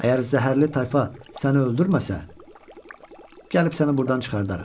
Əgər zəhərli tayfa səni öldürməsə, gəlib səni burdan çıxardarıq.